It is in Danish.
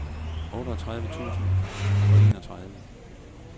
otteogtredive tusind og enogtredive